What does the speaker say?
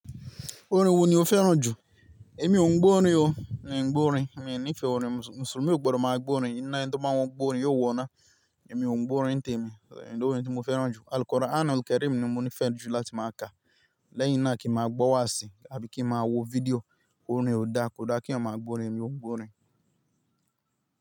Orin wo ni o fẹ́ràn jù? Èmi ò ń gbọ́ orin o, mi ò ń gbọ́ orin. Èmi nífẹ̀ẹ́ orin, Mùsùlùmí ò gbọdọ̀ máa gbọ́ orin. Ẹni to n ba wọn gborin, yo wọ ina. Èmi ò ń gbọ́ orin ntèmi, ìn ni orin tí mo fẹ́ràn jù. Alkuranil Kareem ni mo nfẹ jù láti máa ka. Lẹ́yìn náà kí màá gbọ́ wáàsí àbí kí màá wo fídíò, orin ò dáa, kò dá kí èèyàn máa gbọ́ orin, èmi ò ń gbọ́ orin.